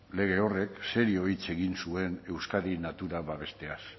lege horrek serio hitz egin zuen euskadin natura babesteaz